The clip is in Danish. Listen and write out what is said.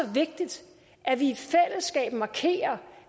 vigtigt at vi i fællesskab markerer